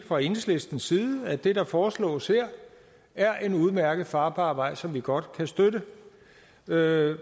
fra enhedslistens side at det der foreslås her er en udmærket og farbar vej som vi godt kan støtte hvad